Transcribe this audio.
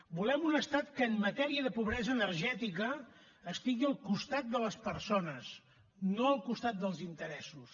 volem un estat que en matèria de pobresa energètica estigui al costat de les persones no al costat dels interessos